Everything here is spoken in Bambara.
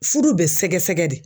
Furu bɛ sɛgɛsɛgɛ de